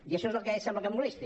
i això és el que sembla que molesti